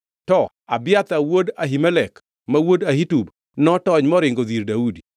To Abiathar wuod Ahimelek ma wuod Ahitub notony moringo odhi ir Daudi.